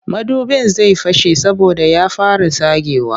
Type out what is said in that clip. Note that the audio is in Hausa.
Madubin zai fashe saboda ya fara tsagewa